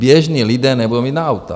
Běžní lidé nebudou mít na auta.